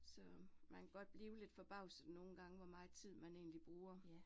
Så man kan godt blive lidt forbavset nogle gange, hvor meget tid, man egentlig bruger